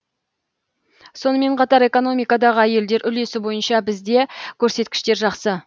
сонымен қатар экономикадағы әйелдер үлесі бойынша бізде көрсеткіштер жақсы